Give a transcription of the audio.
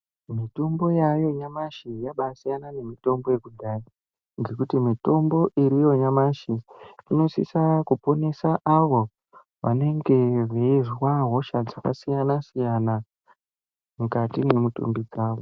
Mutombo yaayo nyamashi yabaasiyana nemutombo yekudhaya ngekuti mitombo iriyo nyamashi inosisa kuponesa avo vanenge veizwa hosha dzakasiyana-siyana mukati mwemitumbi dzavo.